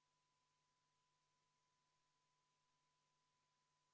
See on muudatusettepanek nr 35, mille on esitanud EKRE fraktsioon ja mille juhtivkomisjon on jätnud arvestamata.